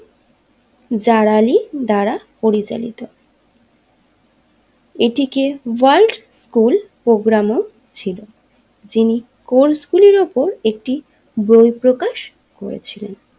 জালালী দ্বারা পরিচালিত এটিতে ওয়ার্ল্ড স্কুল প্রোগ্রামও ছিল যিনি কোর্সগুলির উপর একটি বই প্রকাশ করেছিলেন।